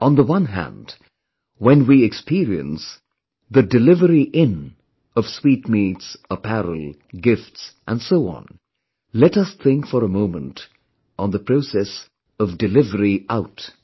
On the one hand, when we experience the 'Delivery In' of sweetmeats, apparel, gifts and so on, let us think for a moment on the process of 'Delivery Out'